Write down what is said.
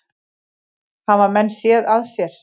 Hafa menn séð að sér?